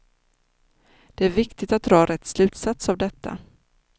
Det är viktigt att dra rätt slutsats av detta.